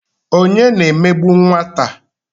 Onye na-emegbu nwata?